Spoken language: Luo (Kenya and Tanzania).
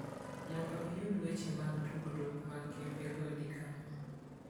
Mondo iyud weche mag tudruok mag kembego, di kama.